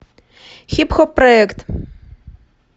хип хоп проект